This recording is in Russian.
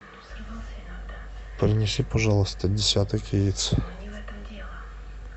принеси пожалуйста десяток яиц